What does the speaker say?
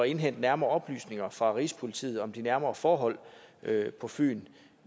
indhente nærmere oplysninger fra rigspolitiet om de nærmere forhold på fyn